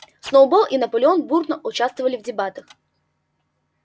сноуболл и наполеон бурно участвовали в дебатах